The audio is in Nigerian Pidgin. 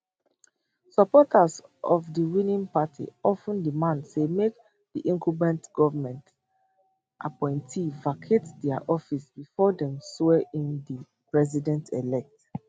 supporters of di winning party of ten demand say make di incumbent goment appointees vacate dia offices bifor dem swear in di president elect